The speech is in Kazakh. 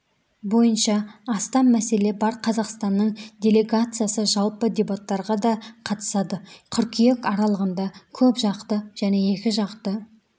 бойынша астам мәселе бар қазақстанның делегациясы жалпы дебаттарға да қатысады қыркүйек аралығында көпжақты және екіжақты